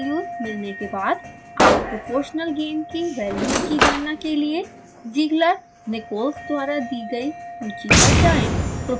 अपेक्षित वैल्यूज़ मिलने के बाद आप proportional gain की वैल्यू की गणना के लिए zieglernichols द्वारा दी गयी सूची पर जाएँ